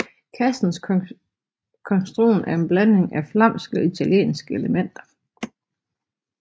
Kassens konstruktion er en blanding af flamske og italienske elementer